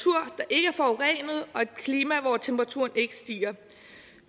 klima hvor temperaturen ikke stiger